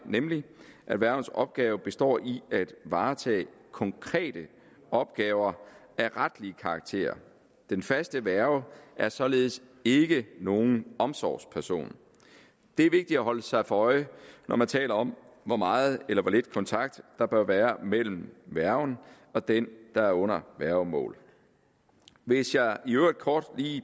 nemlig at værgens opgave består i at varetage konkrete opgaver af retlig karakter den faste værge er således ikke nogen omsorgsperson det er vigtigt at holde sig for øje når man taler om hvor meget eller hvor lidt kontakt der bør være mellem værgen og den der er under værgemål hvis jeg i øvrigt kort